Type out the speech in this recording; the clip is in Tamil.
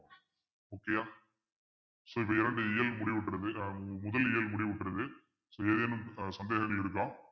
முக்கியம் so இது இரண்டு இயல் முடிவுற்றது முதல் இயல் முடிவுற்றது so ஏதேனும் சந்தேகங்கள் இருக்கா